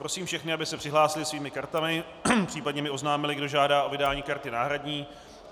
Prosím všechny, aby se přihlásili svými kartami, případně mi oznámili, kdo žádá o vydání karty náhradní.